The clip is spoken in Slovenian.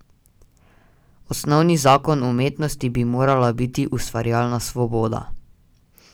Osnovni zakon umetnosti bi morala biti ustvarjalna svoboda.